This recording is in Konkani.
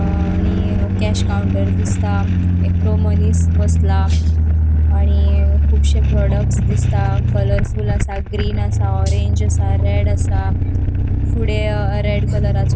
अ आणि अ केश काउन्टर दिसता एकटो मनिस बसला आणि कुबशे प्रोडक्टस दिसता कलरफुल आसा ग्रीन आसा ऑरेंज आसा रेड आसा फुडें अ रेड कलरा चो --